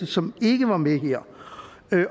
som ikke var med her